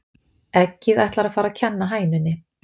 Eggið ætlar að fara að kenna hænunni